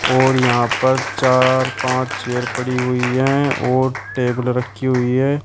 और यहां पर चार पांच चेयर पड़ी हुई हैं और टेबल रखी हुई है।